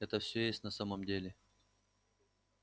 это всё есть на самом деле